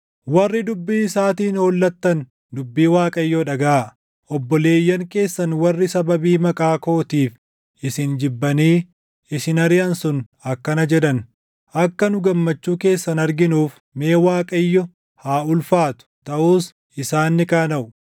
Warri dubbii isaatiin hollattan dubbii Waaqayyoo dhagaʼaa: “Obboleeyyan keessan warri sababii maqaa kootiif isin jibbanii isin ariʼan sun akkana jedhan; ‘Akka nu gammachuu keessan arginuuf, mee Waaqayyo haa ulfaatu!’ Taʼus isaan ni qaanaʼu.